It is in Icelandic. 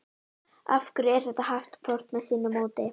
af hverju er þetta haft hvort með sínu móti